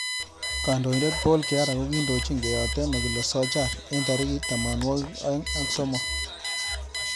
Kandoindet Paul kihara kokindojin keyotei nekile SOJAR eng tarikit tamanwakik aemg ak somok.